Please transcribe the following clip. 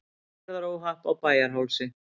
Umferðaróhapp á Bæjarhálsi